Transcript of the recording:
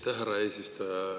Aitäh, härra eesistuja!